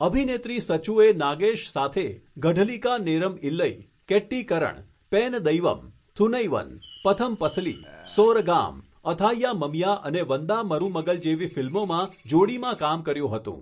અભિનેત્રી સચુએ નાગેશ સાથે ગઢલિકા નેરમ ઇલ્લઈ, કેટ્ટીકરણ, પેન દૈવમ, થુનૈવન, પથમ પસલી, સોરગામ, અથાઇયા મમિયા અને વંદા મરુમગલ જેવી ફિલ્મોમાં જોડીમાં કામ કર્યું હતું.